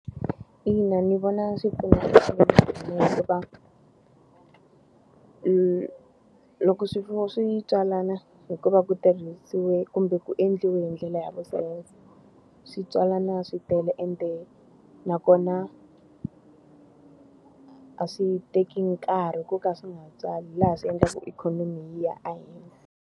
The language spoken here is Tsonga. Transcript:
Ina ndzi vona swi pfuna . Loko swifuwo swi tswalana hikuva ku tirhisiwe kumbe ku endliwe hi ndlela ya vusopfa, swi tswalana swi tele ende nakona a swi teki nkarhi ku ka swi nga tswali laha swi endlaku ikhonomi yi ya ehenhla.